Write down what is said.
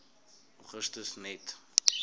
augustus net